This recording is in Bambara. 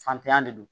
Fantanya de don